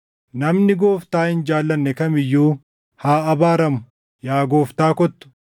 Namni Gooftaa hin jaallanne kam iyyuu haa abaaramu. Yaa Gooftaa kottu.